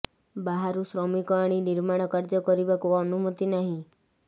ବାହାରୁ ଶ୍ରମିକ ଆଣି ନିର୍ମାଣ କାର୍ଯ୍ୟ କରିବାକୁ ଅନୁମତି ନାହିଁ